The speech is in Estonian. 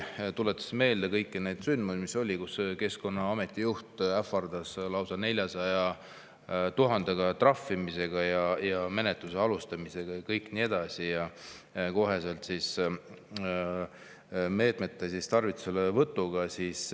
Tuletan meelde kõiki neid sündmusi, mis olid: Keskkonnaameti juht ähvardas lausa 400 000-eurose trahvi ja menetluse alustamisega ja nii edasi, koheselt meetmete tarvituselevõtuga.